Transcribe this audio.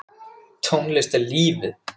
Tónlist er lífið!